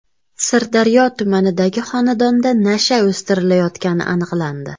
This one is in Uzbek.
Sirdaryo tumanidagi xonadonda nasha o‘stirilayotgani aniqlandi.